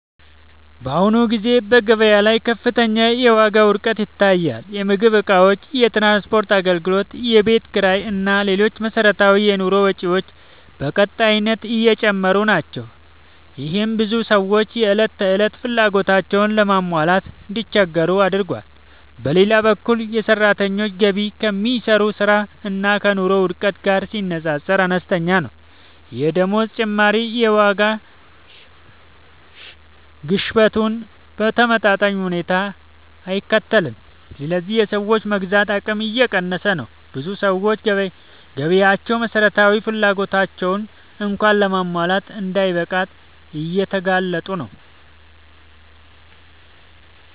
በአሁኑ ጊዜ በገበያ ላይ ከፍተኛ የዋጋ ውድነት ይታያል። የምግብ እቃዎች፣ የትራንስፖርት አገልግሎቶች፣ የቤት ኪራይ እና ሌሎች መሠረታዊ የኑሮ ወጪዎች በቀጣይነት እየጨመሩ ናቸው። ይህም ብዙ ሰዎች የዕለት ተዕለት ፍላጎቶቻቸውን ለማሟላት እንዲቸገሩ አድርጓል። በሌላ በኩል የሰራተኞች ገቢ ከሚሰሩት ሥራ እና ከኑሮ ውድነቱ ጋር ሲነጻጸር አነስተኛ ነው። የደመወዝ ጭማሪ የዋጋ ግሽበቱን በተመጣጣኝ ሁኔታ አይከተልም፣ ስለዚህ የሰዎች የመግዛት አቅም እየቀነሰ ነው። ብዙ ሰዎች ገቢያቸው መሠረታዊ ፍላጎቶቻቸውን እንኳን ለማሟላት እንዳይበቃ እየተጋፈጡ ነው።